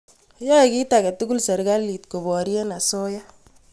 Yae kit ake tukul sirikalit koporye asoya.